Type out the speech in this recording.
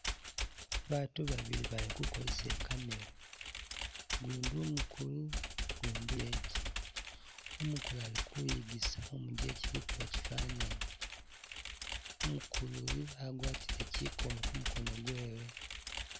Baatu babili bali kukosesa i'camera, ugundi umukulu, ugundi umujeje, umukulu ali kuyigisa umujeje kukuba chifananyi, umukulu uyu agwatile chikomo kumukono kwewe.